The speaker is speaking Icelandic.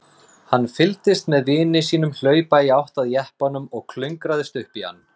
Hann fylgdist með vini sínum hlaupa í átt að jeppanum og klöngrast upp í hann.